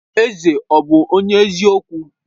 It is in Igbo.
Eze ọ̀ bụ onye eziokwu?